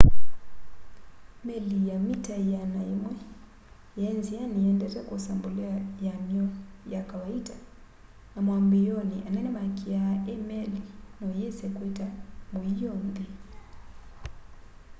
meli ya mita 100 yaĩ nzĩanĩ ĩendete kwosa mbolea yam'yo ya kawaita na mwambĩĩonĩ anene makĩaa i meli noyĩse kwĩta mũio nthĩ